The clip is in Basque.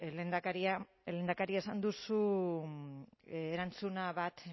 lehendakaria lehendakari esan duzu erantzuna bat